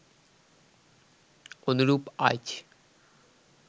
অনুরূপ আইচ